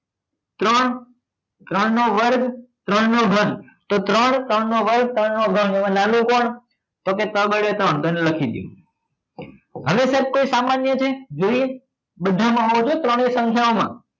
ત્રણ ત્રણ નો વર્ગ ત્રણ નો ધન તો ત્રણ ત્રણ નો વર્ગ ત્રણ નો ધન એમાં નાનો કોણ તો કે તગડે ત્રણ એ લખી દો હવે સાહેબ કોઈ સામાન્ય છે જોઈએ બધામાં હોવો જોઈએ ત્રણેય સંખ્યામાં